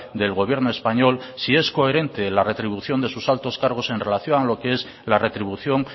del gobierno español si es coherente la retribución de sus altos cargos en relación a lo qué es la retribución